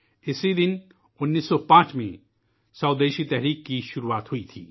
اسی دن 1905 ء میں سودیشی کی شروعات ہوئی تھی